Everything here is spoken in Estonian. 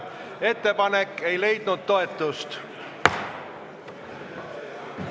Ettepanek ei leidnud toetust. .